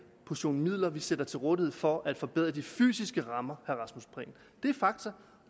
portion midler vi stiller til rådighed for at forbedre de fysiske rammer det er fakta